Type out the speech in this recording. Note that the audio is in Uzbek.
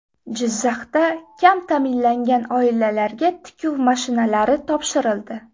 Jizzaxda kam ta’minlangan oilalarga tikuv mashinalari topshirildi.